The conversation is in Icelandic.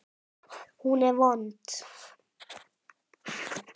Hún er vond.